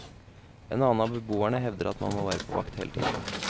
En annen av beboerne hevder at man nå må være på vakt hele tiden.